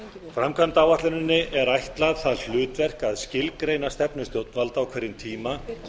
framkvæmdaáætluninni er ætlað það hlutverk að skilgreina stefnu stjórnvalda á hverjum tíma